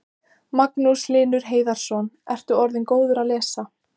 Magnús Hlynur Hreiðarsson: Ertu orðinn góður að lesa?